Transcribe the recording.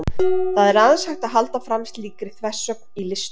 það er aðeins hægt að halda fram slíkri þversögn í listum